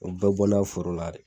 O bɛɛ bɔna foro la de.